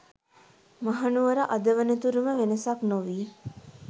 මහනුවර අද වනතුරුම වෙනසක් නොවී